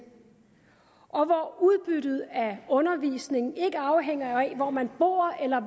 og hvor udbyttet af undervisningen ikke afhænger af hvor man bor eller